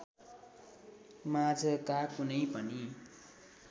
माझका कुनै पनि